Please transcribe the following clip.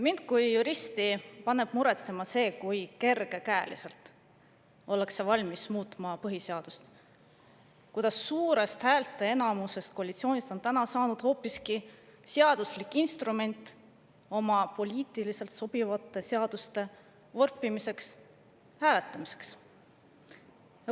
Mind kui juristi paneb muretsema, kui kergekäeliselt ollakse valmis muutma põhiseadust, kuidas suurest häälteenamusest koalitsioonis on saanud hoopiski seaduslik instrument endale poliitiliselt sobivate seaduste vorpimiseks, nende hääletamiseks.